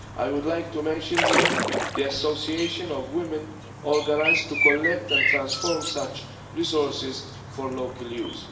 I would like to mention here the association of women organised to collect and transform such resources for local use.